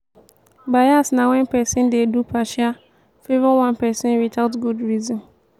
bias na wen pesin dey do partial favour one pesin without good reason.